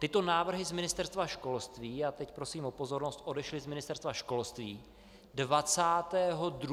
Tyto návrhy z Ministerstva školství - a teď prosím o pozornost - odešly z ministerstva školství 22. ledna tohoto roku.